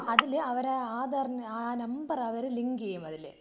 അതില് അവര് ആധാറിന്റെ ആ നമ്പർ അവര് ലിങ്ക് യ്യും അതില്.